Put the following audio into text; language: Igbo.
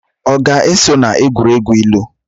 Ọ ga-eso na egwuregwu ilu?